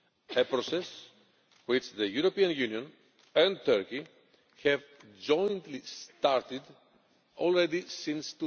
a process which the European Union and Turkey have jointly started already since